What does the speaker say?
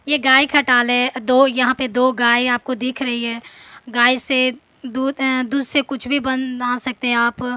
ये गाय खटाल है दो यहाँ पे दो गाय आपको दिख रही है गाय से दुध ए दूध से कुछ भी बना सकते है आप।